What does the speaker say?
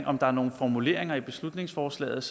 om der er nogle formuleringer i beslutningsforslaget